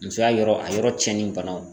Musoya yɔrɔ a yɔrɔ cɛnnen banaw